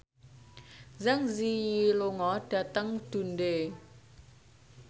Zang Zi Yi lunga dhateng Dundee